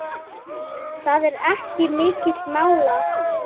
Það fór ekki milli mála.